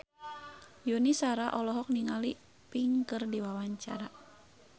Yuni Shara olohok ningali Pink keur diwawancara